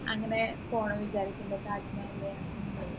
അങ്ങനെ പോണംന്നു വിചാരിക്കുന്നു താജ്മഹല്